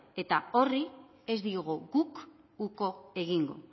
eta horri ez diogu guk uko egingo